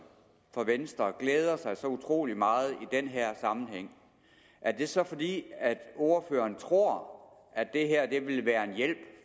for venstre glæder sig så utrolig meget i den her sammenhæng er det så fordi ordføreren tror at det her vil være en hjælp